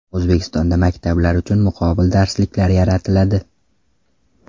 O‘zbekistonda maktablar uchun muqobil darsliklar yaratiladi.